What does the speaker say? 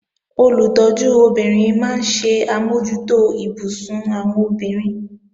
Olùtọ́jú obìnrin máa ń ṣe àmójútó ibùsùn àwọn obìnrin